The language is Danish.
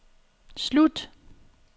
slut